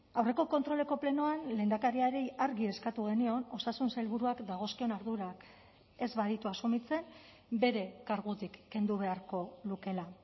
aurreko kontroleko plenoan lehendakariari argi eskatu genion osasun sailburuak dagozkion ardurak ez baditu asumitzen bere kargutik kendu beharko lukeela